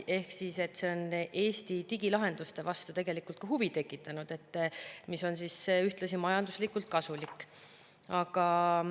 Ehk see on Eesti digilahenduste vastu tegelikult huvi tekitanud, mis on ühtlasi majanduslikult kasulik.